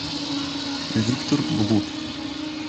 виктор блуд